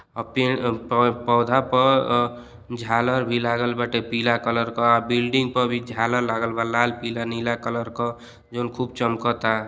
और पेड़ पौधा पर झालर भी लागल बाटे पीला कलर का बिल्डिंग पर भी झालल लगल बा लाल पीला नीला कलर का जोन खूब चमकता।